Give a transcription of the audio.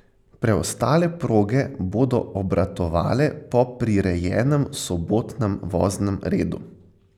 Preostale proge bodo obratovale po prirejenem sobotnem voznem redu.